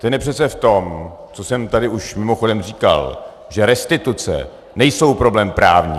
Ten je přece v tom, co jsem tady už mimochodem říkal, že restituce nejsou problém právní.